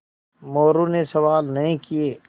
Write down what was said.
मोरू ने सवाल नहीं किये